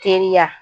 Teriya